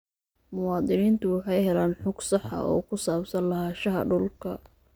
Muwaadiniintu waxay helaan xog sax ah oo ku saabsan lahaanshaha dhulka.